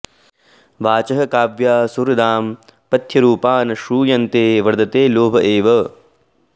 वाचः काव्याः सुहृदां पथ्यरूपा न श्रूयन्ते वर्धते लोभ एव